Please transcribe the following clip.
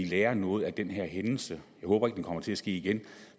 lære noget af den her hændelse jeg håber ikke det kommer til at ske igen